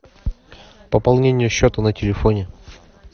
пополнение счета на телефоне